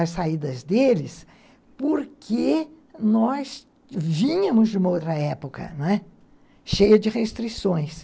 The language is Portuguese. as saídas deles porque nós vínhamos de uma outra época, não é? cheia de restrições.